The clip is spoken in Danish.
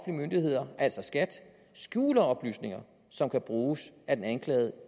myndigheder altså skat skjuler oplysninger som kan bruges af den anklagede